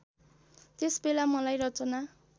त्यसबेला मलाई रचना